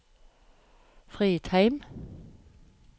Fridheim